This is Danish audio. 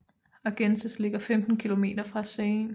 Argences ligger 15 km fra Caen